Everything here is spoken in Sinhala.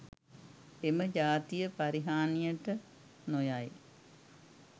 එම ජාතිය පරිහානියට නොයයි